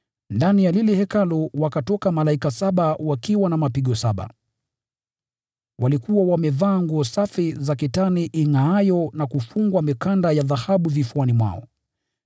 Ndani ya lile hekalu wakatoka malaika saba wakiwa na mapigo saba. Walikuwa wamevaa nguo safi za kitani ingʼaayo na kufungwa mikanda ya dhahabu vifuani mwao.